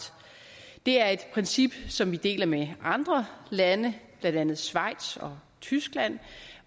det er et princip som vi deler med andre lande blandt andet schweiz og tyskland